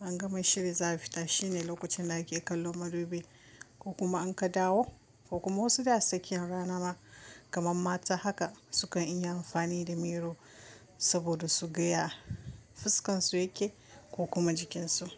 an gama shiri za a fita shine lokacin da ake kallon madubi ko kuma in ka dawo ko kuma wasu dai a cikin rana ma kaman mata haka sukan iya amfani da miro saboda su ga ya fuskan su yake ko kuma jikinsu.